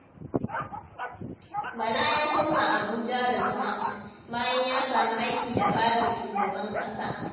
Bala ya koma Abuja da zama, bayan ya samu aiki da Fadar Shugaban ƙasa.